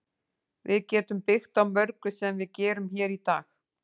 Við getum byggt á mörgu sem við gerum hér í dag.